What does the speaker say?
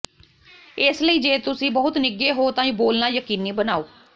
ਇਸ ਲਈ ਜੇ ਤੁਸੀਂ ਬਹੁਤ ਨਿੱਘੇ ਹੋ ਤਾਂ ਬੋਲਣਾ ਯਕੀਨੀ ਬਣਾਓ